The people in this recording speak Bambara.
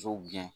Jo gɛn